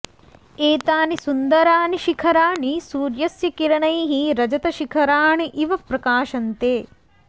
एतानि सुन्दराणि शिखराणि सूर्यस्य किरणैः रजतशिखराणि इव प्रकाशन्ते